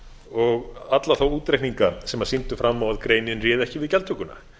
og alla þá útreikninga sem sýndu fram á að greinin réði ekki við gjaldtökuna